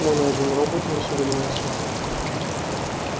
но ни один робот не шевельнулся